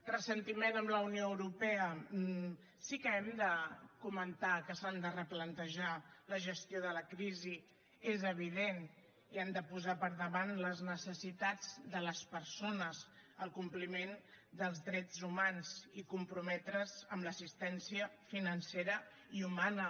ressentiment amb la unió europea sí que hem de comentar que s’han de replantejar la gestió de la crisi és evident i han de posar per davant les necessitats de les persones el compliment dels drets humans i comprometre’s amb l’assistència financera i humana